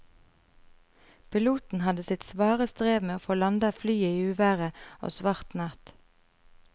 Piloten hadde sitt svare strev med å få landet flyet i uvær og svart natt.